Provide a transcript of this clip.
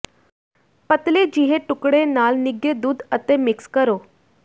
ਪਤਲੇ ਜਿਹੇ ਟੁਕੜੇ ਨਾਲ ਨਿੱਘੇ ਦੁੱਧ ਅਤੇ ਮਿਕਸ ਕਰੋ